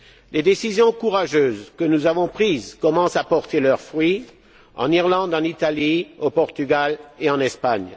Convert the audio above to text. Les décisions courageuses que nous avons prises commencent à porter leurs fruits en Irlande, en Italie, au Portugal et en Espagne.